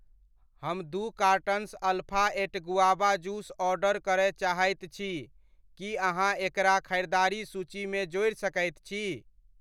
हम दू cartons alpha eight guava juice order करय चाहैत छी, की अहाँ एकरा खरिदारि सूचीमे जोड़ि सकैत छी ?